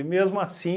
E mesmo assim,